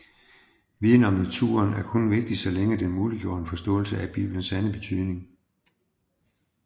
Viden om naturen var kun vigtig så længe den muliggjorde en forståelse af bibelens sande betydning